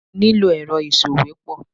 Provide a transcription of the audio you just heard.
Mo ní lò èrọ ìsòwépọ̀.